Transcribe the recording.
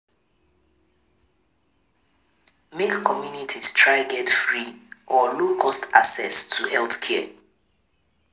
Make communities try get free or low cost access to healthcare